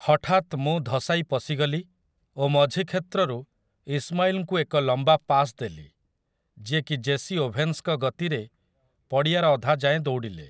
ହଠାତ୍ ମୁଁ ଧସାଇ ପଶିଗଲି ଓ ମଝି କ୍ଷେତ୍ରରୁ ଇସମାଇଲ୍‌ଙ୍କୁ ଏକ ଲମ୍ବା ପାସ୍ ଦେଲି, ଯିଏକି ଜେସି ଓଭେନ୍ସଙ୍କ ଗତିରେ ପଡ଼ିଆର ଅଧା ଯାଏଁ ଦୌଡ଼ିଲେ ।